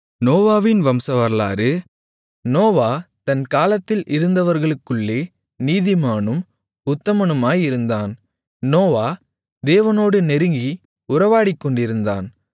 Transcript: நோவாவின் வம்சவரலாறு நோவா தன் காலத்தில் இருந்தவர்களுக்குள்ளே நீதிமானும் உத்தமனுமாயிருந்தான் நோவா தேவனோடு நெருங்கி உறவாடிக்கொண்டிருந்தான்